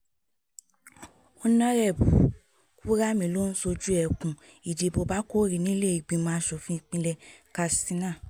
ónàrẹ́bù kùramì ló ń ṣojú ẹkùn ìdìbò bákórì nílé ìgbìmọ̀ asòfin ìpínlẹ̀ katsina